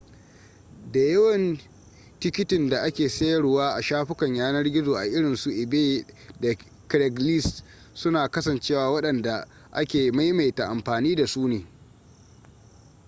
da yawan tikitin da ake sayarwa a shafukan yanar gizo a irinsu ebay da craigslist suna kasancewa wadanda ake maimaita amfani da su ne